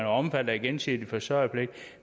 omfattet af gensidig forsørgerpligt